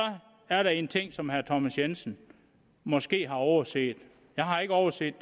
er der en ting som herre thomas jensen måske har overset jeg har ikke overset